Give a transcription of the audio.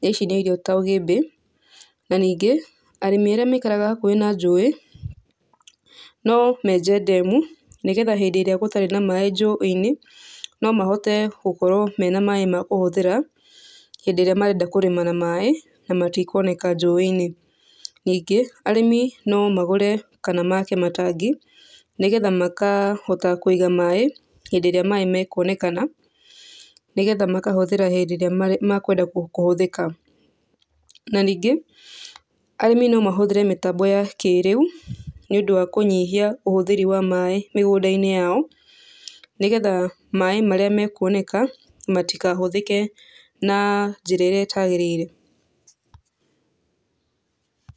na ici nĩ irio ta ũgĩmbi, na ningĩ arĩmi arĩa maikaraga hakuhĩ na njũi, no menje ndemu, nĩgetha hĩndĩ ĩrĩa gũtarĩ na maĩ njũĩ-inĩ, no mahote gũkorwo mena maĩ ma kũhũthĩra, hĩndĩ ĩrĩa marenda kũrĩma na maĩ, na matikuoneka njũĩ-inĩ, Ningĩ, arĩmi no magũre kana make matangi nĩgetha makahota kũiga maĩ, hĩndĩ ĩrĩa maĩ makuonekana, nĩgetha makahũthĩra hĩndĩ ĩrĩa makwenda kũhũthĩka. Na ningĩ, arĩmi no mahũthĩre mĩtambo ya kĩrĩu, nĩũndũ wa kũnyihia ũhũthĩri wa maĩ mĩgũnda-inĩ yao, nĩgetha maĩ marĩa mekuoneka, matikahũthĩre na njĩra ĩrĩa ĩtagĩrĩire.